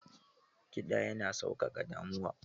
Kiɗa yana sauƙaƙa damuwa.